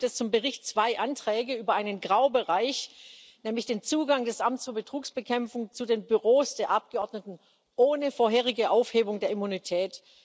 Derzeit gibt es zum Bericht zwei Anträge über einen Graubereich, nämlich den Zugang des Amts für Betrugsbekämpfung zu den Büros der Abgeordneten ohne vorherige Aufhebung der Immunität.